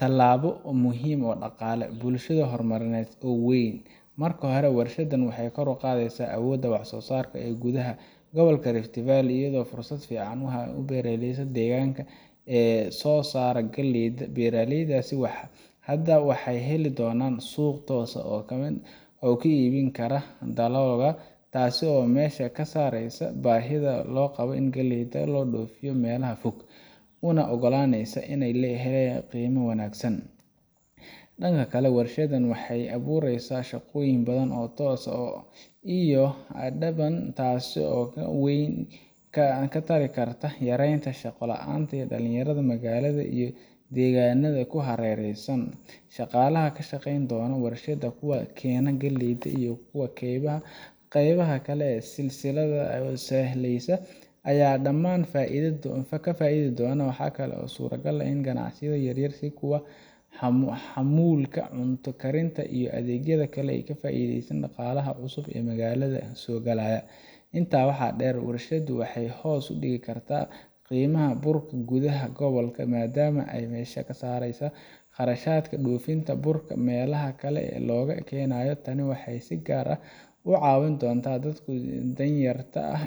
talaabo muhiim ah oo dhaqaale, bulsho iyo horumarineed oo weyn. Marka hore, warshaddan waxay kor u qaadaysaa awoodda wax-soo-saarka ee gudaha gobolka Rift Valley, iyadoo fursad fiican u ah beeraleyda deegaanka ee soo saara galleyda. Beeraleydaas hadda waxay heli doonaan suuq toos ah oo ay ku iibin karaan dalaggooda, taas oo meesha ka saaraysa baahida loo qabo in galleyda loo dhoofiyo meelaha fog, una oggolaanaysa in ay helaan qiime wanaagsan. Dhanka kale, warshaddan waxay abuuraysaa shaqooyin badan oo toos ah iyo kuwo dadban, taasoo wax weyn ka tari karta yareynta shaqo la’aanta dhalinyarada magaalada iyo deegaannada ku hareeraysan. Shaqaalaha ka shaqayn doona warshadda, kuwa keena galleyda, iyo kuwa qeybaha kale ee silsiladda sahayda ayaa dhammaan ka faa’iidi doona. Waxa kale oo suuragal ah in ganacsiyo yaryar sida kuwa xamuulka, cunto karinta, iyo adeegyada kale ay ka faa’iidaystaan dhaqaalaha cusub ee magaalada soo galaya. Intaa waxaa dheer, warshaddu waxay hoos u dhigi kartaa qiimaha burka gudaha gobolka, maadaama ay meesha ka saaraysaa kharashaadka dhoofinta burka meelaha kale looga keenayo. Tani waxay si gaar ah u caawin doontaa dadka danyarta ah